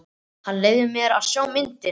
Hann leyfði mér að sjá myndina.